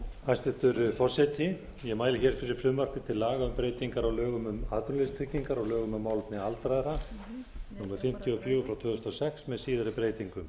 hæstvirtur forseti ég mæli hér fyrir frumvarp til laga um breytingu á lögum um atvinnuleysistryggingar og lögum um málefni aldraðra númer fimmtíu og fjögur tvö þúsund og sex með síðari breytingum